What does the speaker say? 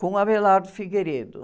com o